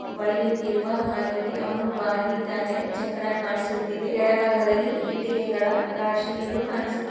ಬಳಿಯುತ್ತಿರುವ ಹಾಗಿದೆ ಅವನು ಬಾಗಿದ್ದಾನೆ ಚಕ್ರ ಕಾಣಿಸುತ್ತಿದೆ ಕೆಳಭಾಗದಲ್ಲಿ ಇಟ್ಟಿಗೆಗಳ ರಾಶಿಗಳು ಕಾಣಿಸುತ್ತ --